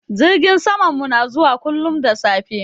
Jirgin samanmu na zuwa kullum da safe.